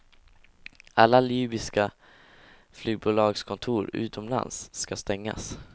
Alla libyska flygbolagskontor utomlands ska stängas.